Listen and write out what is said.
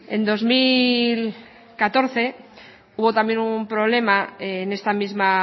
en dos mil catorce hubo también un problema en esta misma